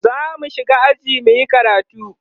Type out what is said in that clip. zamu shiga aji muyi karatu